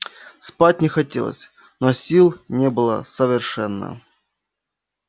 спать не хотелось но сил не было совершенно